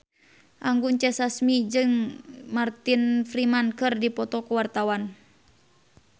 Anggun C. Sasmi jeung Martin Freeman keur dipoto ku wartawan